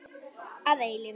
Að eilífu.